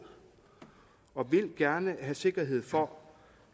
og vil gerne have sikkerhed for